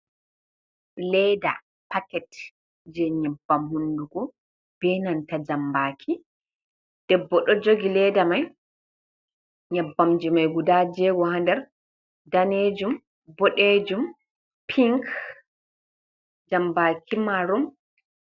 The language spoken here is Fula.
Leeda paket je nyebbam hunduko, bee nanta jam baki, debbo ɗo jogii leeda mai, nyabbamji mai guda jeego Haa nder daneejum, boɗejum, pink, jambaki marun.